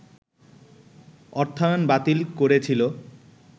অর্থায়ন বাতিল করেছিল